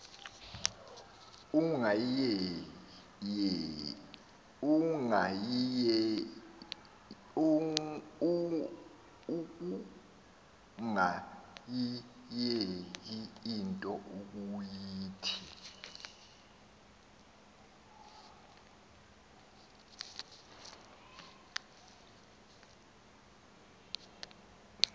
ukungayiyeki into ukuyithi